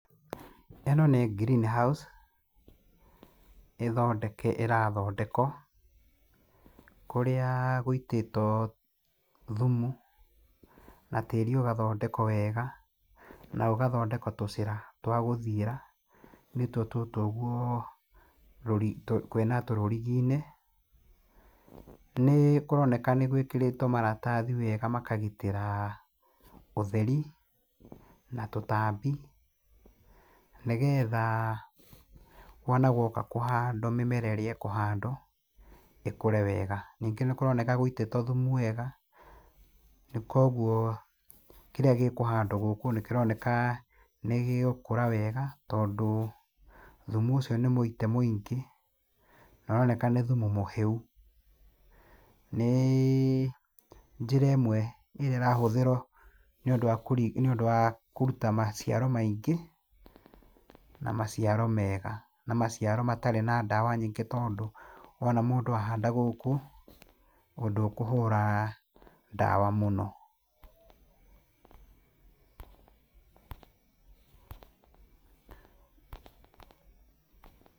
Ĩno nĩ greenhouse ĩrathondekwo, kũrĩa gũitĩtwo thumu na tĩri ũgathondekwo wega na gũgathondekwo tũcĩra twa gũthiĩra nĩtuo tũtũ ũguo kwĩna rũriginĩ. Nĩkũroneka nĩgwĩkĩrĩtwo maratathi wega makagitĩra ũtheri na tũtambi nĩgetha wona guoka kũhandwo mĩmera ĩrĩa ĩkũhandwo ĩkũre wega. Ningĩ nĩkũroneka gũitĩtwo thumu wega koguo kĩrĩa gĩkũhandwo gũkũ nĩkĩroneka nĩgĩgũkũra wega tondũ thumu ũcio nĩmũite mũingĩ na nĩũroneka nĩ thumu mũhĩu. Nĩ njĩra ĩmwe ĩrĩa ĩrahũthĩrwo nĩũndũ wa kũruta maciaro maingĩ na maciaro mega na maciaro matarĩ na ndawa nyingĩ tondũ wona mũndũ ahanda gũkũ ndũkũhũra ndawa mũno.